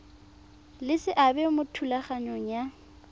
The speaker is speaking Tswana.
le seabe mo thulaganyong ya